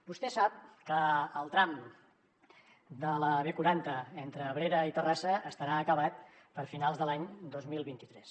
vostè sap que el tram de la b quaranta entre abrera i terrassa estarà acabat per a finals de l’any dos mil vint tres